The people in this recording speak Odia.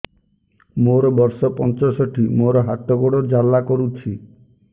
ମୋର ବର୍ଷ ପଞ୍ଚଷଠି ମୋର ହାତ ଗୋଡ଼ ଜାଲା କରୁଛି